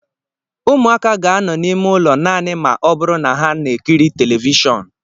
Ụmụaka ga-anọ n'ime ụlọ naanị ma ọ bụrụ na ha na-ekiri telivishọn